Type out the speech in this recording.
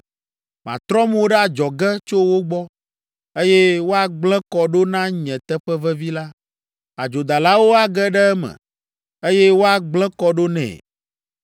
Matrɔ mo ɖe adzɔge tso wo gbɔ, eye woagblẽ kɔ ɖo na nye teƒe vevi la. Adzodalawo age ɖe eme, eye woagblẽ kɔ ɖo nɛ.